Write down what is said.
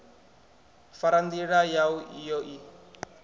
fara ndila yau iyo i